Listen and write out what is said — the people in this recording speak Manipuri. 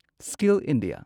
skill India